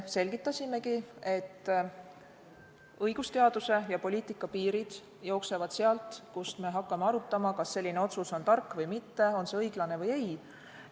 Selgitasimegi, et õigusteaduse ja poliitika piirid jooksevad sealt, kus me hakkame arutama, kas otsus on tark või mitte, õiglane või ei.